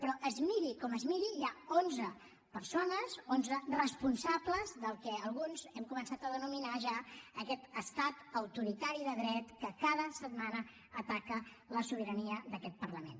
però es miri com es miri hi ha onze persones onze responsables del que alguns hem començat a denominar ja aquest estat autoritari de dret que cada setmana ataca la sobirania d’aquest parlament